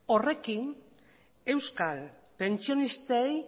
horrekin euskal pentsionistei